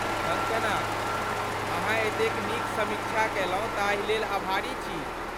कंगकना, अहाँ एतेक नीक समीक्षा कयलहुँ ताहि लेल अभारी छी ।